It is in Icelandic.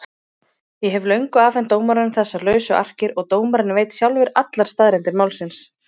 Ég hef löngu afhent dómaranum þessar lausu arkir og dómarinn veit sjálfur allar staðreyndir málsins.